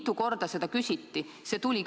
Mitu korda seda küsiti?!